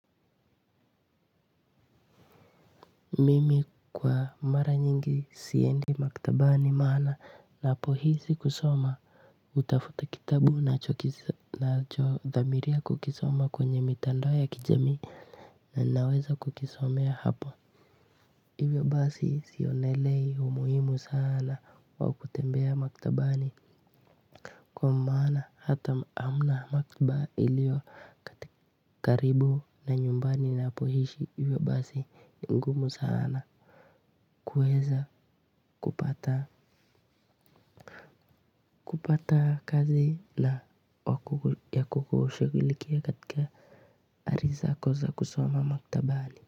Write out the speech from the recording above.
Mimi kwa mara nyingi siendi maktabani maana ninapohisi kusoma hutafuta kitabu ninachodhamiria kukisoma kwenye mitandao ya kijami na naweza kukisomea hapo hivyo basi sionelei umuhimu sana wa kutembea maktabani kwa maana hata hamna maktaba ilio karibu na nyumbani ninapoishi hivyo basi ni ngumu sana kuweza kupata kupata kazi ya kukushughulikia katika ari zako za kosoma maktabani.